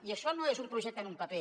i això no és un projecte en un paper